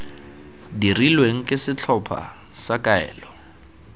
dirilweng ke setlhopha sa kaelo